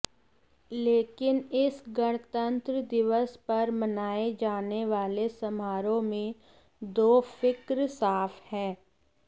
लेकिन इस गणतंत्र दिवस पर मनाए जाने वाले समारोह में दो फिक्र साफ है